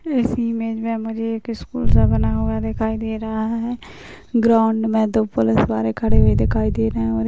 इस इमेज में मुझे एक स्कूल सा बना हुआ दिखाई दे रहा है ग्राउन्ड में दो पुलिस वाले खड़े हुए दिखाई दे रहें हैं और एक --